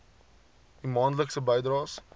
u maandelikse bydraes